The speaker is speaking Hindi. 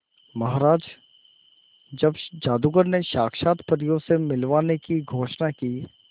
महाराज जब जादूगर ने साक्षात परियों से मिलवाने की घोषणा की